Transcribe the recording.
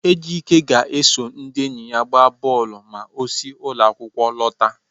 Ejike ga-eso ndị enyi ya gbaa bọọlụ ma o si ụlọ akwụkwọ lọta.